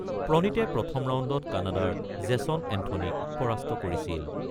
প্ৰণীতে প্ৰথম ৰাউণ্ডত কানাডাৰ জেছন এন্থনীক পৰাস্ত কৰিছিল।